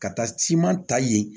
Ka taa siman ta yen